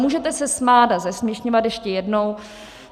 Můžete se smát a zesměšňovat ještě jednou.